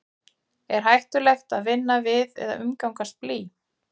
er hættulegt að vinna við eða umgangast blý